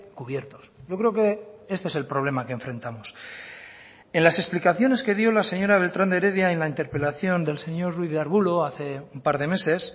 cubiertos yo creo que este es el problema que enfrentamos en las explicaciones que dio la señora beltrán de heredia en la interpelación del señor ruiz de arbulo hace un par de meses